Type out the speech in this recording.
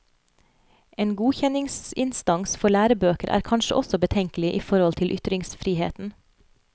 En godkjenningsinstans for lærebøker er kanskje også betenkelig i forhold til ytringsfriheten.